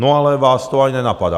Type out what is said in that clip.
No ale vás to ani nenapadá.